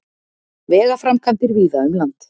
Vegaframkvæmdir víða um land